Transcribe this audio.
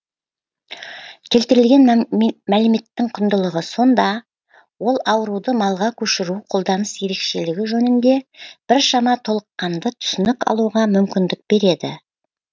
келтірілген мәліметтің құндылығы сонда ол ауруды малға көшіру қолданыс ерекшелігі жөнінде біршама толыққанды түсінік алуға мүмкіндік береді